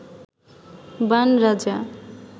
বাণ রাজা